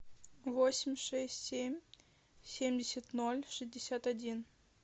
восемь шесть семь семьдесят ноль шестьдесят один